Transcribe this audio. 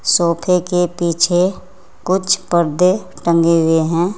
सोफे के पीछे कुछ पर्दे टंगे हुएं हैं।